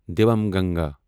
Damanganga